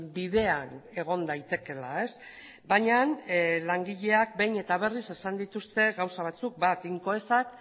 bidean egon daitekeela baina langileak behin eta berriz esan dituzte gauza batzuk bat incoesak